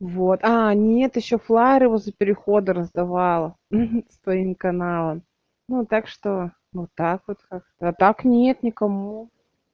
вот нет ещё флаеры возле перехода раздавала ха с твоим каналом ну так что вот так вот как-то а так нет никому